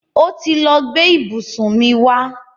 Ó ti lọ gbe ìbùsùn mi wa.